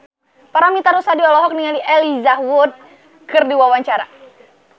Paramitha Rusady olohok ningali Elijah Wood keur diwawancara